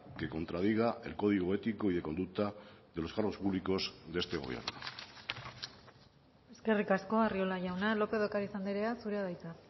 que contradiga el código ético y de conducta de los cargos públicos de este gobierno eskerrik asko arriola jauna lópez de ocariz andrea zurea da hitza